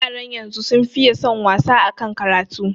Yaran yanzu sun fiye son wasa akan karatu